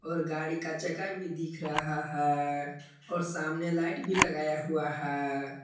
और गाड़ी का चका भी दिख रहा है और सामने लाइट भी लगाया हुआ है।